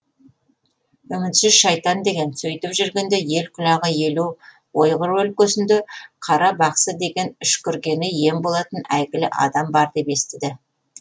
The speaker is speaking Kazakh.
үмітсіз шайтан деген сөйтіп жүргенде ел құлағы елу ойғыр өлкесінде қара бақсы деген үшкіргені ем болатын әйгілі адам бар деп естіді